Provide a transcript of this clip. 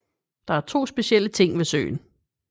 Der er to specielle ting ved søen